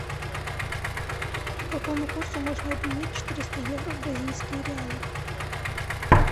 по какому курсу можно обменять четыреста евро в бразильские реалы